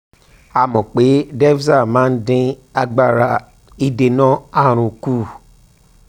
a mọ̀ pé defza máa ń dín agbára ìdènà àrùn kù